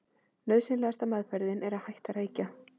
Nauðsynlegasta meðferðin er að hætta að reykja.